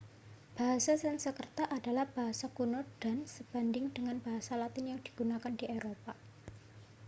bahasa sansekerta adalah bahasa kuno dan sebanding dengan bahasa latin yang digunakan di eropa